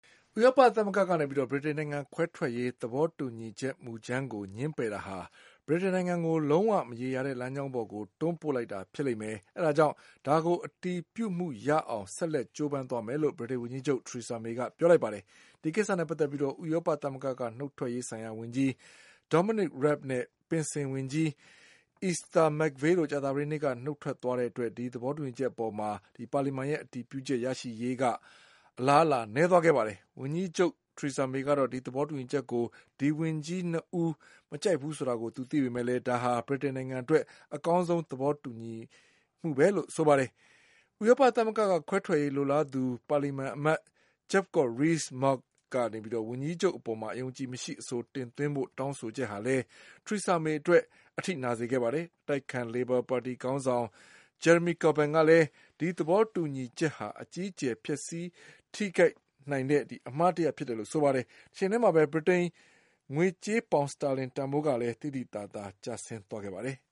ဥရောပသမဂ္ဂက ဗြိတိန်နိုင်ငံခွဲထွက်ရေး သဘောတူညီချက်မူကြမ်းကို ငြင်းပယ်တာဟာ ဗြိတိန်နိုင်ငံကို လုံး၀ မရေရာတဲ့ လမ်းကြောင်းပေါ်တွန်းပို့လိုက်တာဖြစ်လိမ့်မယ်၊ အဲဒါကြောင့် ဒါကိုအတည်ပြုမှု ရအောင် ဆက်လက်ကြိုးပမ်းသွားမယ်လို့ ဗြိတိန်ဝန်ကြီးချုပ် Thresera May က ပြောလိုက်ပါတယ်။ ဒီကိစ္စနဲ့ပတ်သက်ပြီး ဥရောပသမဂ္ဂကနုတ်ထွက်ရေးဆိုင်ရာဝန် ကြီး Dominic Raab နဲ့ပင်စင်ဝန်ကြီး Esther McVey တို့ ကြာသပတေးနေ့က နုတ်ထွက်သွားတဲ့အတွက် ဒီသဘောတူညီ ချက်အပေါ် ပါလီမန်ရဲ့ အတည်ပြုချက်ရရှိရေးမှာ အလားအလာနည်းသွားခဲ့ပါတယ်။ ဝန်ကြီးချုပ်မေကတော့ ဒီသဘောတူ ညီချက်ကို ဒီဝန်ကြီး ၂ ဦးမကြိုက်ကြဘူးဆိုတာ သူသိပေမယ့် ဒါဟာ ဗြိတိန်နိုင်ငံအတွက် အကောင်းဆုံး သဘောတူညီမှုပဲ လို့ဆိုပါတယ်။ ဥရောပသမဂ္ဂက ခွဲထွက်ရေးလိုလားသူ ပါလီမန်အမတ် Jacob Rees Mogg ကနေပြီးတော့ ဝန်ကြီးချုပ်အပေါ်မှာ အယုံအကြည်မရှိအဆို တင်သွင်းဖို့ တောင်းဆိုချက်ကလည်း Thresera May အတွက် အထိနာစေခဲ့ပါ တယ်။ အတိုက်အခံလေဘာပါတီခေါင်းဆောင် Jeremy Corbyn ကလည်း ဒီသဘောတူညီချက်ဟာ အကြီးအကျယ် ပျက်စီးထိ ခိုက်စေနိုင်တဲ့အမှားတရပ်ဖြစ်တယ်လို့ ဆိုပါတယ်။ တချိန်တည်းမှာပဲ ဗြိတိန်ငွေကြေး ပေါင်စတာလင် ကလည်း သိသိသာသာ ကျဆင်းသွားခဲ့ပါတယ်။